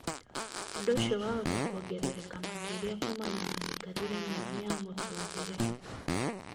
ũndũ ũcio wahota kuongerereka makĩria kuumana na mĩikarĩre mĩũru ya mũtũũrire